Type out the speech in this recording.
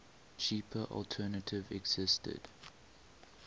cheaper alternative existed